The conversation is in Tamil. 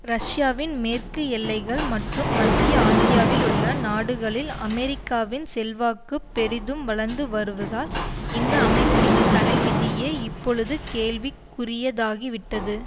ரஷ்யாவின் மேற்கு எல்லைகள் மற்றும் மத்திய ஆசியாவில் உள்ள நாடுகளில் அமெரிக்காவின் செல்வாக்கு பெரிதும் வளர்ந்து வருவதால் இந்த அமைப்பின் தலைவிதியே இப்பொழுது கேள்விக்குரியதாகிவிட்டது